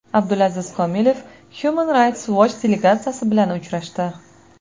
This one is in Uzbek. Abdulaziz Komilov Human Rights Watch delegatsiyasi bilan uchrashdi.